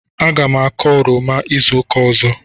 Aga m akọ oroma izu ụka ọzọ.